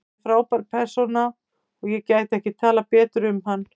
Hann er frábær persóna og ég gæti ekki talað betur um hann.